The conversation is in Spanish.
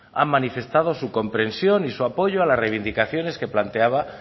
han manifestado su compresión y su apoyo a las reivindicaciones que planteaba